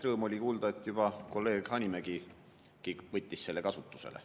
Rõõm oli kuulda, et juba kolleeg Hanimägigi võttis selle kasutusele.